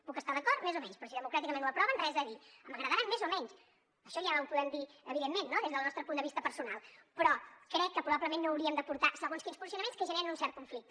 puc estar hi d’acord més o menys però si democràticament ho aproven res a dir m’agradaran més o menys això ja ho podem dir evidentment no des del nostre punt de vista personal però crec que probablement no hauríem de portar segons quins posicionaments que generen un cert conflicte